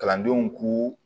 Kalandenw k'u